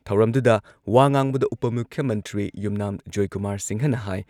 ꯊꯧꯔꯝꯗꯨꯗ ꯋꯥ ꯉꯥꯡꯕꯗ ꯎꯄ ꯃꯨꯈ꯭ꯌ ꯃꯟꯇ꯭ꯔꯤ ꯌꯨꯝꯅꯥꯝ ꯖꯣꯢꯀꯨꯃꯥꯔ ꯁꯤꯡꯍꯅ ꯍꯥꯏ